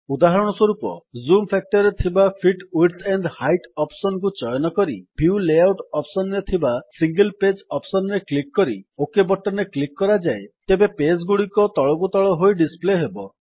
ଉଦାହରଣ ସ୍ୱରୂପ ଯଦି ଜୁମ୍ ଫାକ୍ଟର ରେ ଥିବା fit width and height option କୁ ଚୟନ କରି ଭ୍ୟୁ ଲେଆଉଟ୍ ଅପ୍ସନ୍ ରେ ଥିବା ସିଙ୍ଗଲ୍ ପେଜ୍ ଅପ୍ସନ୍ ରେ କ୍ଲିକ୍ କରି ଓକ୍ ବଟନ୍ ରେ କ୍ଲିକ୍ କରାଯାଏ ତେବେ ପେଜ୍ ଗୁଡିକ ତଳକୁ ତଳ ହୋଇ ଡିସପ୍ଲେ ହେବ